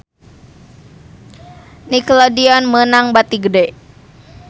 Nickelodeon meunang bati gede